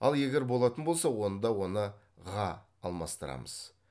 ал егер болатын болса онда оны ға алмастырамыз